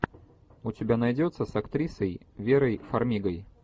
у тебя найдется с актрисой верой фармигой